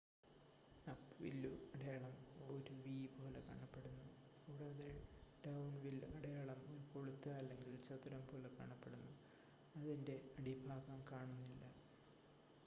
"""അപ്-വില്ലു" അടയാളം ഒരു വി പോലെ കാണപ്പെടുന്നു കൂടാതെ "ഡൌൺ-വില്ലു അടയാളം" ഒരു കൊളുത്ത് അല്ലെങ്കിൽ ചതുരം പോലെ കാണപ്പെടുന്നു അതിന്റെ അടിഭാഗം കാണുന്നില്ല.